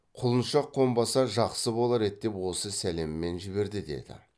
құлыншақ қонбаса жақсы болар еді деп осы сәлеммен жіберді деді